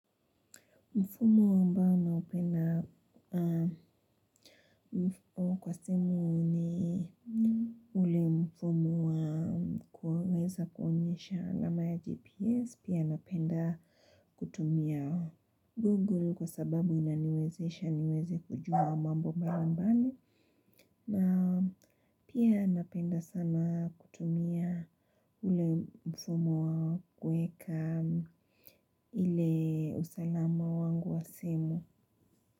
Mfumo ambao naupenda kwa simu ni ule mfumo wa kuweza kuonyesha alama ya gps pia napenda kutumia google kwa sababu inaniwezesha niweze kujua mambo mbalimbali na pia napenda sana kutumia ule mfumo wa kueka ile usalama wangu wa simu.